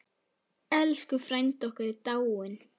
Elsku frændi okkar er dáinn.